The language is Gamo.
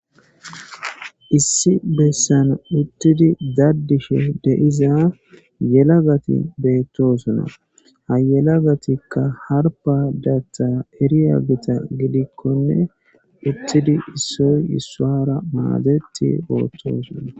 Issi bessan uttidi daddisho deiza yelagati beettosuna hayelagatikka harba datha hiriya gita gidikkonne uttidi issoy issoara maadeti Beettosuna.